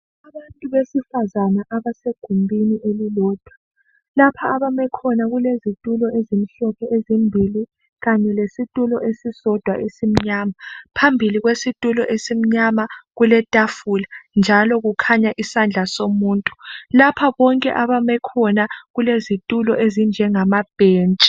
Abantu abesifazana abasegumbini elilodwa, lapha abame khona kulezitulo ezimhlophe ezimbili kanye lesitulo esisodwa esimnyama. Phambili kwesitulo esimnyama kuletafula njalo kukhanya isandla somuntu. Lapho konke abame khona kulezitulo ezinjengamabhentshi.